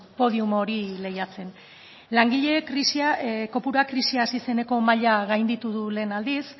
podium hori lehiatzen langileen krisia kopurua krisia hasi zeneko maila gainditu du lehen aldiz